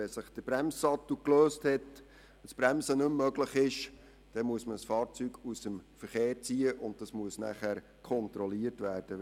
Wenn sich der Bremssattel gelöst hat, das Bremsen nicht mehr möglich ist, dann muss man ein Fahrzeug aus dem Verkehr ziehen, und die Reparatur muss kontrolliert werden.